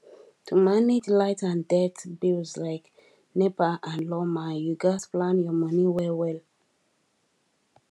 to manage light and dirt bills like nepa and lawma you gats plan your money well well